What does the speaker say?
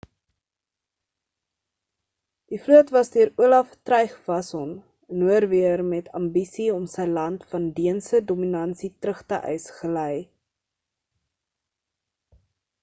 die vloot was deur olaf trygvasson 'n norweër met ambisie om sy land van deense dominasie terug te eis gely